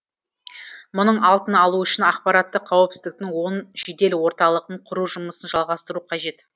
мұның алдын алу үшін ақпараттық қауіпсіздіктің он жедел орталығын құру жұмысын жалғастыру қажет